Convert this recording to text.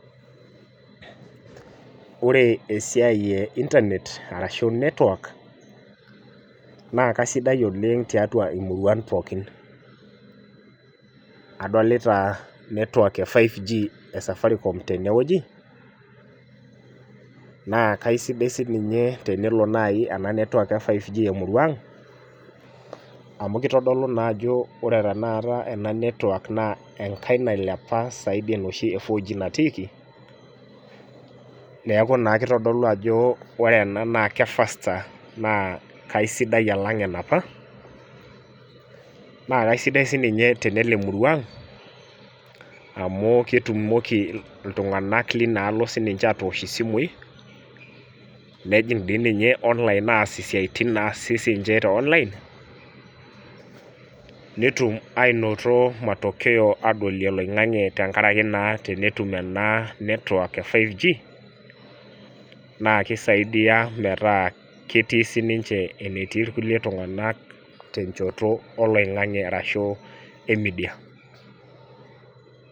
Ore esiai e internet arashu network naa kasidai oleng tiatua imuruan pookin adolita network e 5g e safaricom tenewueji naa kaisidai sininye tenelo naaji ena network e 5g emurua ang amu kitodolu naa ajo ore tena ata ena network naa enkae nailepa saidi enoshi e 4g natiiki neeku naa kitodolu ajo ore ena naa ke faster naa kaisidai alang enapa naa kaisidai sininye tenelo emurua ang amu ketumoki iltung'anak linaalo sininche atoosh isimui nejing dii ninye online aas isiaitin naasi sinche te online netum ainoto matokeo adolie oloing'ang'e tenkaraki naa tenetum ena network e 5g naa kisaidia metaa ketii sininche enetii irkulie iltung'anak tenchoto oloing'ang'e arashu e media.